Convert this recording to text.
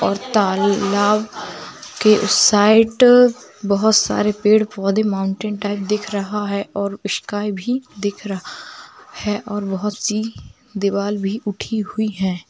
और तालब के उस साइड बोहोत सारे पेड़ पौधे माउंटेन टाइप दिखा रहा है और स्काय भी दिख रहा है और बोहोत सी दीवार भी उठी हुई है।